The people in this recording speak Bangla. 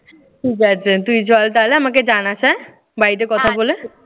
ঠিক আছে তুই চল তাহলে। আমাকে জানাস হ্যাঁ? বাড়িতে কথা বলে।